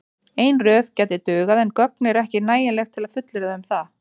Ein röð gæti dugað en gögn eru ekki nægileg til að fullyrða um það.